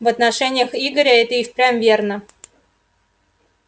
в отношениях игоря это и впрямь верно